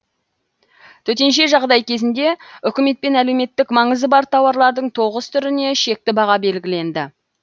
төтенше жағдай кезінде үкіметпен әлеуметтік маңызы бар тауарлардың тоғыз түріне шекті баға белгіленді